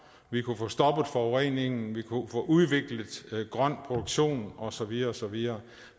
vi kunne få stoppet forureningen vi kunne få udviklet grøn produktion og så videre og så videre